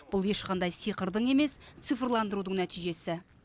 бұл ешқандай сиқырдың емес цифрлдандырудың нәтижесі